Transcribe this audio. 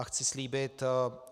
A chci slíbit